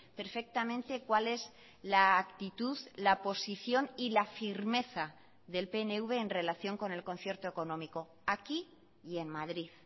perfectamente cuál es la actitud la posición y la firmeza del pnv en relación con el concierto económico aquí y en madrid